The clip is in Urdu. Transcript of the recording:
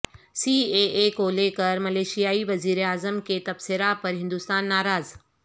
سی اے اے کو لے کر ملیشیائی وزیر اعظم کے تبصرہ پر ہندوستان ناراض